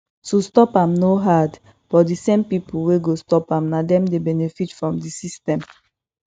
to stop am no hard but di same pipo wey go stop am na dem dey benefit from di system